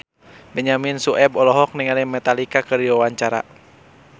Benyamin Sueb olohok ningali Metallica keur diwawancara